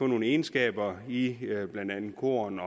nogle egenskaber i blandt andet korn